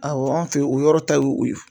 Awɔ anw fe o yɔrɔ ta ye o ye.